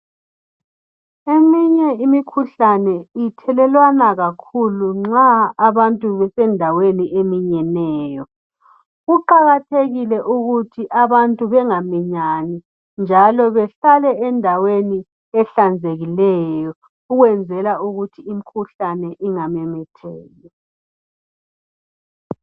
Eminye imikhuhlane ithelelwana kakhulu nxa abantu besendaweni eminyeneyo. Kuqakathekile ukuthi abantu bengaminyani njalo behlale endaweni ehlanzekileyo ukwenzela ukuthi imikhuhlane ingamemetheki.